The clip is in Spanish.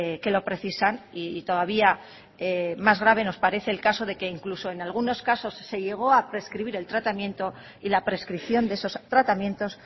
que lo precisan y todavía más grave nos parece el caso de que incluso en algunos casos se llegó a prescribir el tratamiento y la prescripción de esos tratamientos